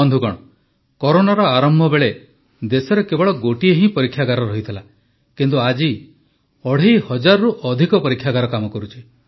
ବନ୍ଧୁଗଣ କରୋନାର ଆରମ୍ଭ ବେଳେ ଦେଶରେ କେବଳ ଗୋଟିଏ ହିଁ ପରୀକ୍ଷାଗାର ରହିଥିଲା କିନ୍ତୁ ଆଜି ଅଢ଼େଇ ହଜାରରୁ ଅଧିକ ପରୀକ୍ଷାଗାର କାମ କରୁଛି